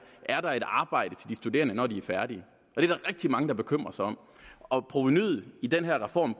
er der et arbejde til de studerende når de er færdige det er der rigtig mange der bekymrer sig om og provenuet i den her reform